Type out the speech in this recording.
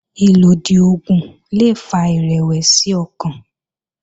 Ìlòdì oògùn le fa ìrẹ̀wẹ̀sì ọkàn